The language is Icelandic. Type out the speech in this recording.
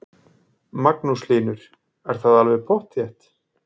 Magnús Hlynur: Er það alveg pottþétt?